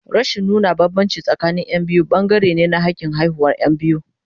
Rashin nuna bambanci tsakanin Yan biyu bangare ne na hakin haihuwar Yan biyu.